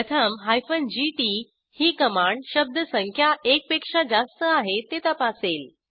प्रथम जीटी ही कमांड शब्दसंख्या एक पेक्षा जास्त आहे ते तपासेल